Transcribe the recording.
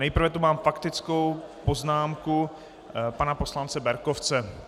Nejprve tu mám faktickou poznámku pana poslance Berkovce.